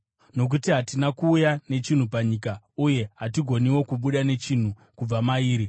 Nokuti hatina kuuya nechinhu panyika, uye hatigoniwo kubuda nechinhu kubva mairi.